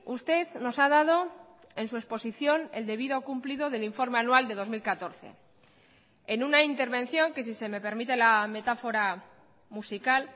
usted nos ha dado en su exposición el debido cumplido del informe anual de dos mil catorce en una intervención que si se me permite la metáfora musical